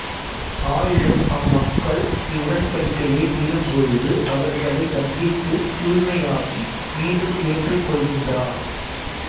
ஆயினும் அம்மக்கள் இவ்வுடன்படிக்கையை மீறும்பொழுது அவர்களைத் தண்டித்துத் தூய்மையாக்கி மீண்டும் ஏற்றுக் கொள்கின்றார்